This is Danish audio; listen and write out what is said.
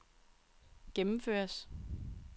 gennemføres